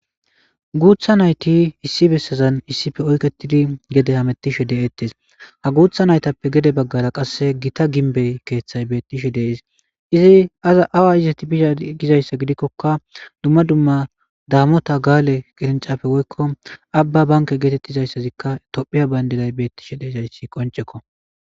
Guutha nayti issi bessazan issippe oyketidi gede hametishe de'etes ha guutha naytappe gede baggara gita gimbe keethay beetishe de'es izi awa izeti bize gizayssa gidikoka dumma dumma daamota gaale qirinchafe woyko aba bank gizayssika tophiya beetishe de'zayssi qoncceko.